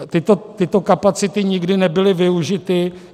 Tyto kapacity nikdy nebyly využity.